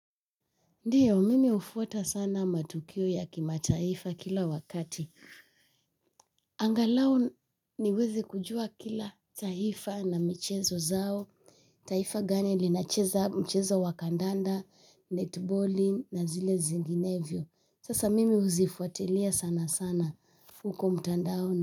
Ndiyo, mimi hufuata sana matukio ya kimataifa kila wakati. Angalau niweze kujua kila taifa na michezo zao. Taifa gani linacheza mchezo wakandanda, netballing na zile zinginevyio. Sasa mimi huzifuatilia sana sana. Huko mtandaoni.